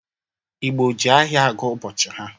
Igbọ jị ahịa agụ ụbọchị ha.